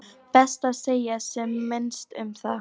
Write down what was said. Best að segja sem minnst um það.